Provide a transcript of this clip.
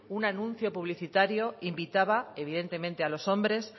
un anuncio publicitario invitaba evidentemente a los hombres